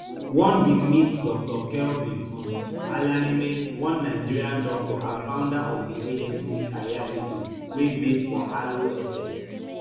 one bin meet dr kelvin um alaneme one nigerian doctor and founder of di agency careeredu wey base for harlow essex